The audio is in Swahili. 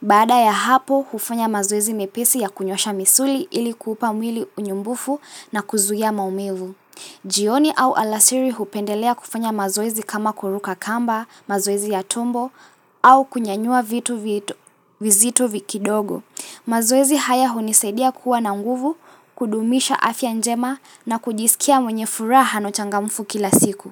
Baada ya hapo, hufanya mazoezi mepesi ya kunyosha misuli ili kuupa mwili unyumbufu na kuzuia maumivu. Jioni au alasiri hupendelea kufanya mazoezi kama kuruka kamba mazoezi ya tumbo au kunyanyua vitu vitu vizito kidogo. Mazoezi haya hunisaidia kuwa na nguvu, kudumisha afya njema na kujisikia mwenye furaha na uchangamfu kila siku.